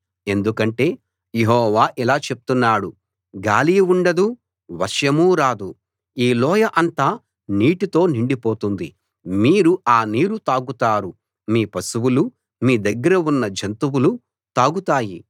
ఎందుకంటే యెహోవా ఇలా చెప్తున్నాడు గాలీ ఉండదు వర్షమూ రాదు ఈ లోయ అంతా నీటితో నిండిపోతుంది మీరు ఆ నీరు తాగుతారు మీ పశువులూ మీ దగ్గర ఉన్న జంతువులూ తాగుతాయి